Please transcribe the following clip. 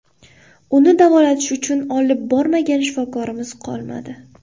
Uni davolatish uchun olib bormagan shifokorimiz qolmadi.